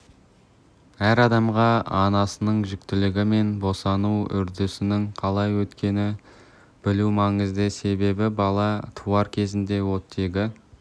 әр адамға анасының жүктілігі мен босану үдерісінің қалай өткенін білу маңызды себебі бала туар кезде оттегі